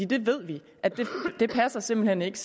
det ved vi simpelt hen ikke